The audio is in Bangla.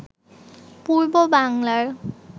পূর্ব বাংলার